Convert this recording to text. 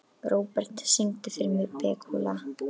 Robert, syngdu fyrir mig „Búkalú“.